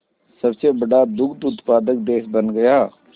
सबसे बड़ा दुग्ध उत्पादक देश बन गया